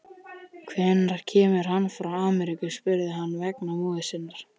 Hvenær kemur hann frá Ameríku, spurði hann vegna móður sinnar.